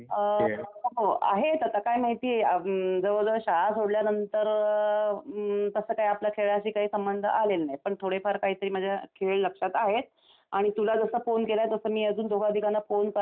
हो आहेत आता काय माहितीकिती जवळजवळ शाळा सोडल्यानंतर तसं काही आपल्या खेळाशी काही संबंध आले नाही पण थोडेफार काहीतरी माझ्या खेळ लक्षात आहेत आणि तुला मी जसा फोन केला तसा मी अजून दोघा तिघांना फोन करणार आहे.